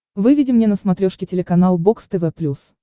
выведи мне на смотрешке телеканал бокс тв плюс